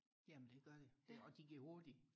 jamen det gør de og de går hurtigt